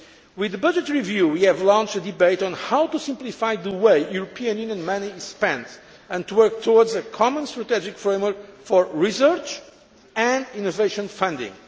With the budget review we have launched a debate on how to simplify the way European Union money is spent, and to work towards a common strategic framework for research and innovation funding.